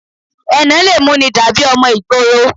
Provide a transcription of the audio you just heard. Ẹnà le mú ni dàbí ọmọ ìgboro